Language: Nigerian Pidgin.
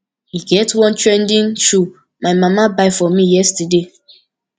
e get one fine trending shoe my mama buy for me yesterday